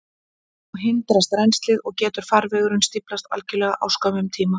Þá hindrast rennslið, og getur farvegurinn stíflast algjörlega á skömmum tíma.